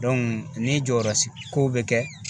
Dɔnku ni jɔyɔrɔ s kow be kɛ